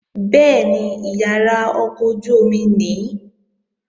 Bẹ́ẹ̀ni, ìyàrá ọkọ̀ ojú-omi nìí